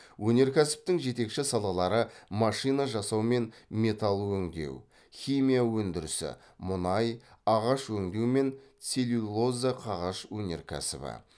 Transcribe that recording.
өнеркәсіптің жетекші салалары машина жасау мен металл өңдеу химия өндірісі мұнай ағаш өңдеу мен целлюлоза қағаз өнеркәсібі